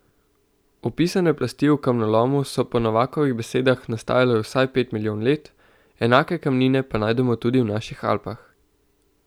Opisane plasti v kamnolomu so po Novakovih besedah nastajale vsaj pet milijonov let, enake kamnine pa najdemo tudi v naših Alpah.